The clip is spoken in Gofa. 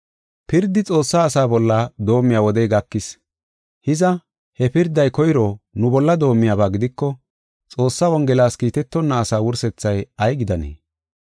Pirdi Xoossaa asaa bolla doomiya wodey gakis. Hiza, he pirday koyro nu bolla doomiyaba gidiko, Xoossaa Wongelas Kiitetonna asaa wursethay ay gidanee?